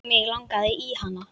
Mig langaði í hana.